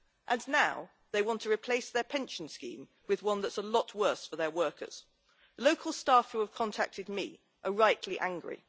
And now they want to replace their pension scheme with one that's a lot worse for their workers. Local staff who have contacted me are rightly angry.